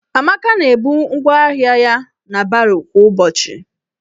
Amaka na-ebu ngwaahịa ya na baro kwa ụbọchị.